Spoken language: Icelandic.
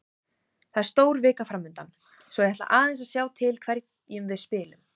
Það er stór vika framundan svo ég ætla aðeins að sjá til hverjum við spilum.